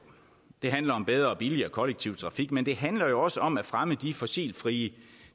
det handler om bedre og billigere kollektiv trafik men det handler jo også om at fremme de fossilfrie